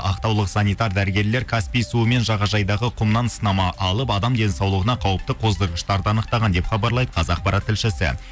ақтаулық санитар дәрігерлер каспий суы мен жағажайдағы құмнан сынама алып адам денсаулығына қауіпті қоздырғыштарды анықтаған деп хабарлайды қазақпарат тілшісі